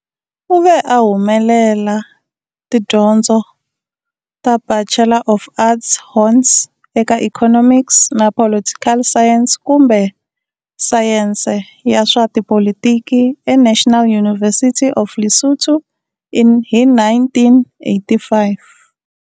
U ve a humelela tidyondzo ta Bachelor of Arts Hons, eka economics na political science kumbe sayense ya swa tipolitiki eNational University of Lesotho hi 1985.